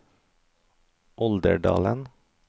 Olderdalen